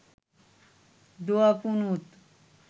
দোয়া কুনুত